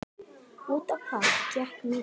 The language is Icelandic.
Út á hvað gekk mýtan?